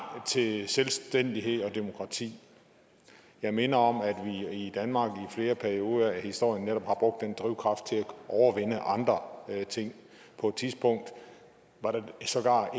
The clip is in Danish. til selvstændighed og demokrati jeg minder om at vi i danmark i flere perioder af historien netop har brugt den drivkraft til at overvinde andre ting på et tidspunkt var der sågar